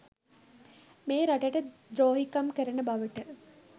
මේ රටට ද්‍රෝහීකම් කරන බවට